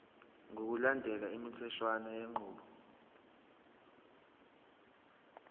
ngokulandela imitheshwana yenqubo